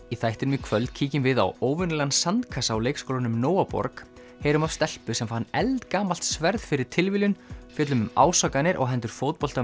í þættinum í kvöld kíkjum við á óvenjulegan sandkassa á leikskólanum heyrum af stelpu sem fann eldgamalt sverð fyrir tilviljun fjöllum um ásakanir á hendur